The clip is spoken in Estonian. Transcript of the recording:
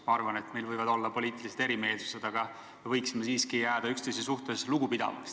Ma arvan, et meil võivad olla poliitilised erimeelsused, aga me võiksime siiski jääda üksteise suhtes lugupidavaks.